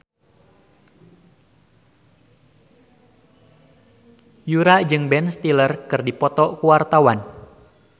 Yura jeung Ben Stiller keur dipoto ku wartawan